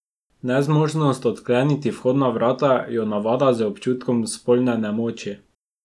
Nezmožnost odkleniti vhodna vrata jo navda z občutkom spolne nemoči.